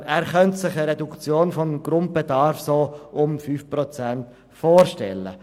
Er könne sich eine Reduktion des Grundbedarfes um rund 5 Prozent vorstellen.